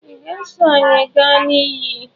Ị ga-eso anyị gaa na iyi?